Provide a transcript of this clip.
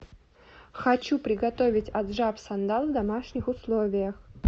хочу приготовить аджапсандал в домашних условиях